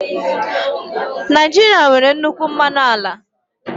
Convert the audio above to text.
Naijiria nwere nnukwu mmanụ ala